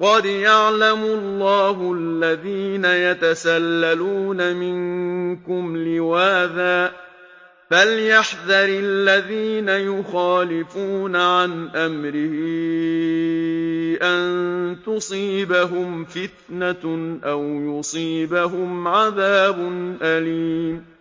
قَدْ يَعْلَمُ اللَّهُ الَّذِينَ يَتَسَلَّلُونَ مِنكُمْ لِوَاذًا ۚ فَلْيَحْذَرِ الَّذِينَ يُخَالِفُونَ عَنْ أَمْرِهِ أَن تُصِيبَهُمْ فِتْنَةٌ أَوْ يُصِيبَهُمْ عَذَابٌ أَلِيمٌ